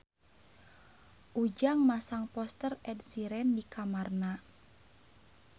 Ujang masang poster Ed Sheeran di kamarna